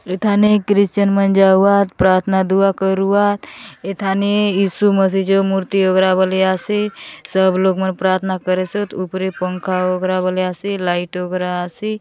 एथाने क्रिश्चियन मन जा उहात प्रार्थना दुआ करुआ एथाने ईसु मसीज मूर्ति वगेरा बलिया से सब लोग मन प्रार्थना करे सत उपरे पंखा वगैरा बलीया से लाइटो वगैरा असी।